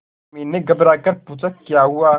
उर्मी ने घबराकर पूछा क्या हुआ